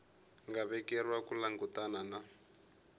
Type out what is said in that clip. nga vekeriwa ku langutana na